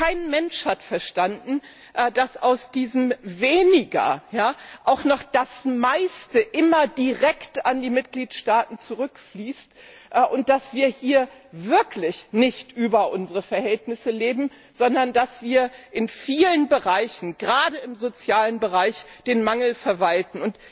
Kein Mensch hat verstanden, dass aus diesem Weniger auch noch das meiste immer noch direkt an die Mitgliedstaaten zurückfließt, und dass wir hier wirklich nicht über unsere Verhältnisse leben, sondern dass wir in vielen Bereichen, gerade im sozialen Bereich, den Mangel verwalten.